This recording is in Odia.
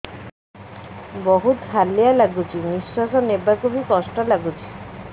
ବହୁତ୍ ହାଲିଆ ଲାଗୁଚି ନିଃଶ୍ବାସ ନେବାକୁ ଵି କଷ୍ଟ ଲାଗୁଚି